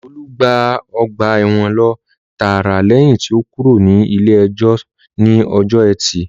Olú gba ọgbà ẹ̀wọ̀n lọ tààrà lẹ́yìn tí ó kúrò ní ilé ìjọsìn ní ọjọ́ etí